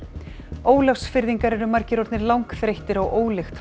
Ólafsfirðingar eru margir orðnir langþreyttir á ólykt frá